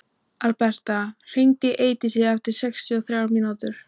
Alberta, hringdu í Eidísi eftir sextíu og þrjár mínútur.